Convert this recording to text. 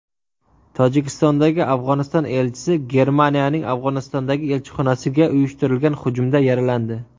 Tojikistondagi Afg‘oniston elchisi Germaniyaning Afg‘onistondagi elchixonasiga uyushtirilgan hujumda yaralandi.